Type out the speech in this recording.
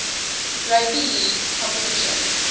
rugby league competition